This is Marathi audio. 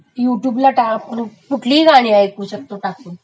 यू ट्यूवला टाक....कुठलिही गाणी ऐकू शकतो,